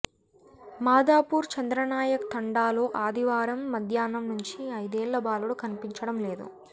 మాదాపూర్ చంద్ర నాయక్ తండాలో ఆదివారం మధ్యాహ్నం నుంచి ఐదేళ్ళ బాలుడు కనిపించడం లేదు